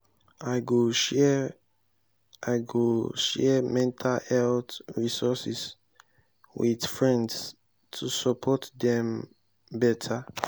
i go share i go share mental health resources with friends to support dem better.